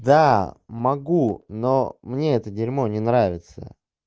да могу но мне это дерьмо не нравится